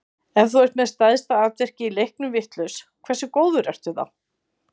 Ef þú ert með stærsta atvikið í leiknum vitlaust, hversu góður ertu þá?